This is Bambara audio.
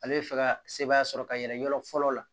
Ale bɛ fɛ ka sebaaya sɔrɔ ka yɛlɛn yɔrɔ fɔlɔ la